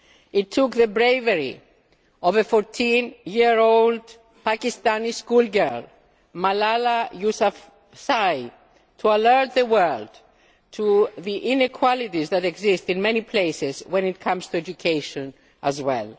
year. It took the bravery of a 14 year old Pakistani schoolgirl, Malala Yousafzai, to alert the world to the inequalities that exist in many places when it comes to education as